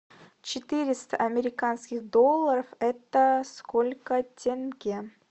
четыреста американских долларов это сколько тенге